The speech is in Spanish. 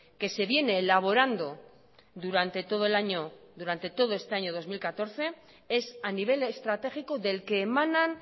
que se vieneelaborando durante todo el año durante todo este año dos mil catorce es a nivel estratégico del que emanan